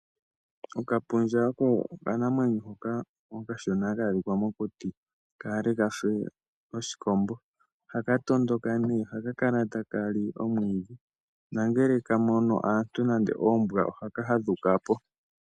Okapundja oko okanamwenyo hoka okashona ha ka adhika mokuti kaale ka fe oshikombo. Ohaka tondoka , ko ohaka kala taka li omwiidhi, nongele ka mono aantu nenge oombwa ohaka fadhuka po.